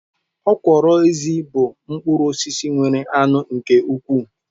Okwuru ezi bu mkpuru osisi nwere anu nke ukwu